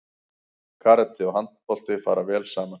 Karate og handbolti fara vel saman